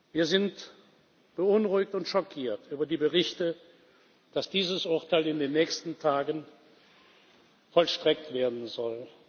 Wir sind beunruhigt und schockiert über die Berichte, dass dieses Urteil in den nächsten Tagen vollstreckt werden soll.